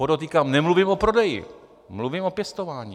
Podotýkám, nemluvím o prodeji, mluvím o pěstování.